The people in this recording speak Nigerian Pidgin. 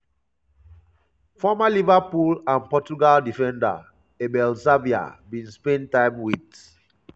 former liverpool and portugal defender abel xavier bin spend time wit